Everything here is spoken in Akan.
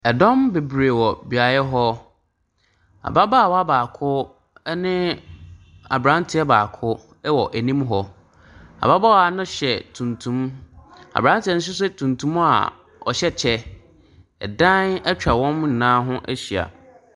Ɛdɔm bebree wɔ beaeɛ hɔ. Ababaawa baako ɛne abranteɛ baako ɛwɔ anim hɔ. Ababaawa no hyɛ tumtum, abranteɛ no nso hyɛ tumtum a ɔhyɛ kyɛ. Ɛdan atwa wɔn nyinaa ho ahyia.